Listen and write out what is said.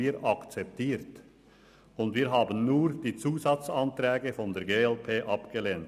Wir haben nur die Zusatzanträge der glp abgelehnt.